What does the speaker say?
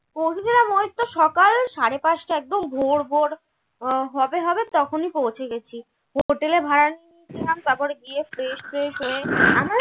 পৌঁছেছিলাম ঐতো সকাল সাড়ে পাঁচটা একদম ভোর ভোর উম হবে হবে তখনি পৌঁছে গেছি hotel তারপর গিয়ে fresh ট্রেস হয়ে আমরা